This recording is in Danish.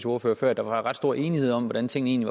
ordfører før at der var ret stor enighed om hvordan tingene